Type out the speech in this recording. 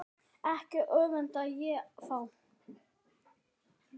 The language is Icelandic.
Ekki öfunda ég þá